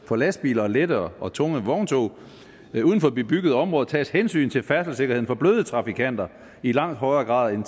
for lastbiler og lette og tunge vogntog uden for bebyggede områder tages hensyn til færdselssikkerheden for bløde trafikanter i langt højere grad end